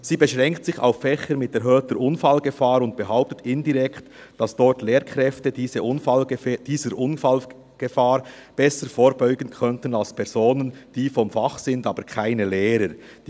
Sie beschränkt sich auf Fächer mit erhöhter Unfallgefahr und behauptet indirekt, dass dort Lehrkräfte diese Unfallgefahr besser vorbeugen können als Personen, die vom Fach, aber keine Lehrer sind.